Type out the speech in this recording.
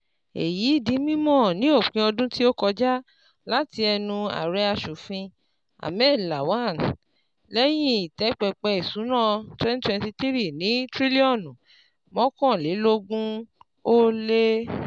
Èyí di mímọ̀ ní òpin ọdún tí ó kọjá láti ẹnu Ààrẹ aṣòfin Ahmed Lawan lẹ́yìn ìtẹ́ pẹpẹ ìsúná twenty twenty three ní tírílíọ̀nù mọ́kànlélógún-ó-lé